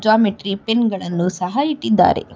Geometry pen ಗಳನ್ನು ಸಹ ಇಟ್ಟಿದ್ದಾರೆ.